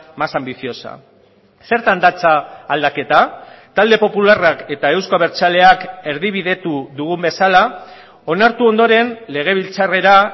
más ambiciosa zertan datza aldaketa talde popularrak eta euzko abertzaleak erdibidetu dugun bezala onartu ondoren legebiltzarrera